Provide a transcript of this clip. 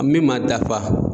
Min ma dafa